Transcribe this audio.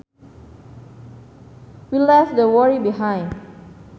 We left that worry behind